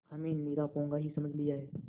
हमें निरा पोंगा ही समझ लिया है